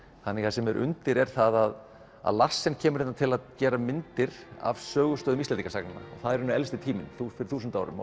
það sem er undir er það að Larsen kemur hérna til að gera myndir af sögustöðum Íslendingasagna og það er í raun elsti tíminn fyrir þúsund árum